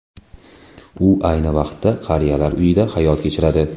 U ayni vaqtda qariyalar uyida hayot kechiradi.